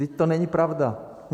Vždyť to není pravda.